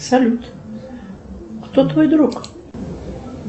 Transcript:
салют кто твой друг